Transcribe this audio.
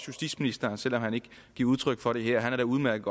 justitsministeren selv om han ikke giver udtryk for det her udmærket